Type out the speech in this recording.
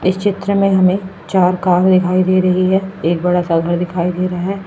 इस चित्र में हमें चार कार दिखाई दे रही है एक बड़ा सा घर दिखाई दे रहा है।